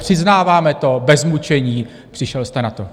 Přiznáváme to bez mučení, přišel jste na to.